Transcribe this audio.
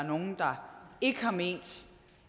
er nogle der ikke har ment